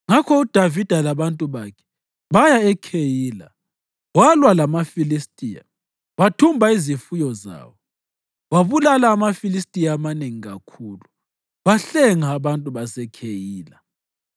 Ngakho uDavida labantu bakhe baya eKheyila, walwa lamaFilistiya wathumba izifuyo zawo. Wabulala amaFilistiya amanengi kakhulu wahlenga abantu baseKheyila.